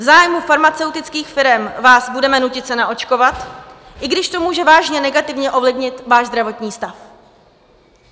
V zájmu farmaceutických firem vás budeme nutit se naočkovat, i když to může vážně negativně ovlivnit váš zdravotní stav."